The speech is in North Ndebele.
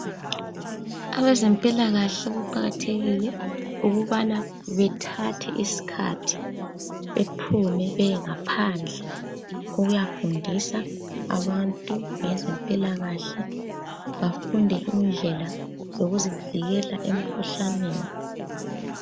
Abezempilakahle kuqakathekile ukubana bathathe isikhathi baphume baye phandle ukuyafundisa abantu ngezempilakahle bafunde indlela yokuzivikela emkhuhlaneni.